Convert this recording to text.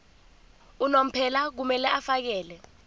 unomphela kumele afakele